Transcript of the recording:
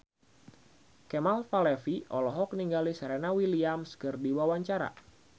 Kemal Palevi olohok ningali Serena Williams keur diwawancara